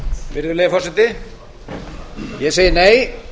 virðulegi forseti ég segi nei